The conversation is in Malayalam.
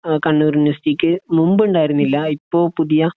അഹ് കണ്ണൂർ യൂണിവേഴ്‌സിറ്റിക്ക് മുൻപ്ണ്ടായിരുന്നില്ല ഇപ്പൊ പുതിയ